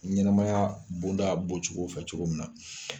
Ɲɛnɛmaya bonda bɔcogo fɛ cogo min na